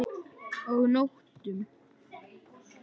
Og nóttum!